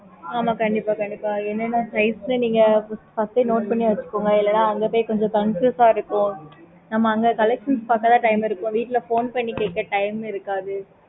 ஆமா கண்டிப்பா கண்டிப்பா என்ன என்ன size ல நீங்க first note பண்ணி வெச்சுக்கோங்க இல்லனா அங்க பொய் confuse இருக்கும்